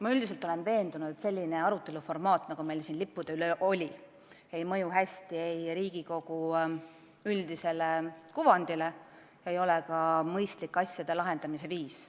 Ma üldiselt olen veendunud, et sellises formaadis arutelu, nagu meil siin lippude üle oli, ei mõju hästi ei Riigikogu üldisele kuvandile ega ole ka mõistlik asjade lahendamise viis.